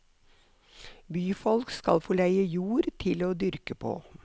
Byfolk skal få leie jord til å dyrke på.